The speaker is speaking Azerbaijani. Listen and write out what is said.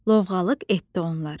Lovğalıq etdi onlar.